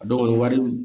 A dɔw wari